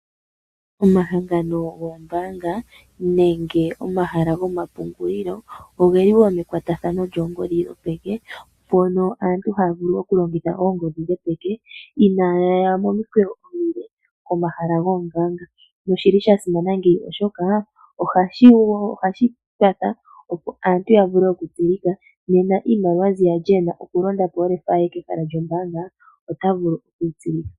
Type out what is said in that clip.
Omahangano gombaanga nenge omahala gomapungulilo ogeli mekwatathano lyongodhi yopeke, mpono aantu haya vulu oku longitha ongodhi yopeke, inaayaya momikweyo omile komeho gombaanga noshili sha simana ngeyi oshoka ohashi kwatha opo aantu ya vule oku tsilika. Nena iimaliwa mbi ali a pumbwa oku londa po okefa, ota vulu okwiitsilika.